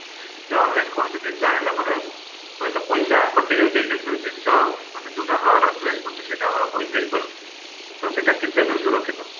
ଯେ online କୌଣସି ଜିନିଷ ଆଣିବା ଲୋଭ ରେ ହୁଏତ ପଇସା କଟିଯାଉଛି କିନ୍ତୁ ଜିନିଷ ମାନେ ଯଉଟା ଆମେ order place କରୁଛେ ସେଇଟା ଆମର ହୋଇ ହେଇପାରୁନି ତ ସେଟା କେତେଦୂର ସୁରକ୍ଷିତ?